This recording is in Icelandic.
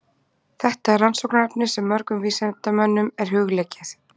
Þetta er rannsóknarefni sem mörgum vísindamönnum er hugleikið.